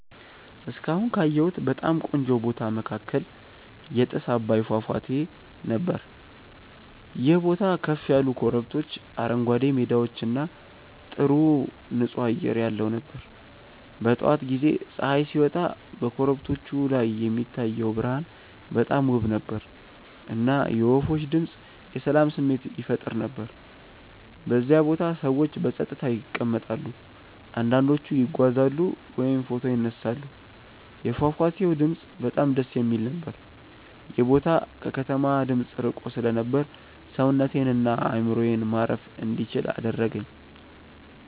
እስካሁን ካየሁት በጣም ቆንጆ ቦታ መካከል የጥስ አባይ ፏፏቴ ነበር። ይህ ቦታ ከፍ ያሉ ኮረብቶች፣ አረንጓዴ ሜዳዎች እና ጥሩ ንፁህ አየር ያለው ነበር። በጠዋት ጊዜ ፀሐይ ሲወጣ በኮረብቶቹ ላይ የሚታየው ብርሃን በጣም ውብ ነበር፣ እና የወፎች ድምፅ የሰላም ስሜት ይፈጥር ነበር። በዚያ ቦታ ሰዎች በጸጥታ ይቀመጣሉ፣ አንዳንዶቹ ይጓዛሉ ወይም ፎቶ ይነሳሉ። የፏፏቴው ድምፅ በጣም ደስ የሚል ነበር። ይህ ቦታ ከከተማ ድምፅ ርቆ ስለነበር ሰውነቴን እና አእምሮዬን ማረፍ እንዲችል አደረገኝ።